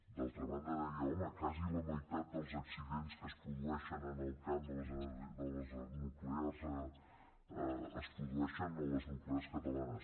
d’altra banda deia home quasi la meitat dels accidents que es produeixen en el camp de les nuclears es produeixen a les nuclears catalanes